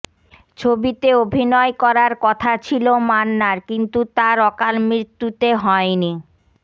ছবিতে অভিনয় করার কথা ছিল মান্নার কিন্তু তার অকাল মৃৃত্যুতে হয়নি